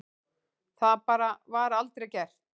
Það bara var aldrei gert.